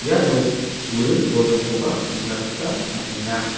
iano buring bolgrimkoba nikna gita man·enga.